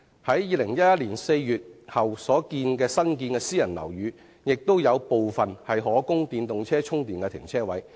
在2011年4月後新建的私人樓宇，亦有部分提供電動車充電停車位。